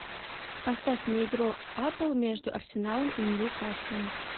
поставь мне игру апл между арсеналом и ньюкаслом